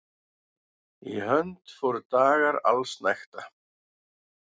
Í hönd fóru dagar allsnægta.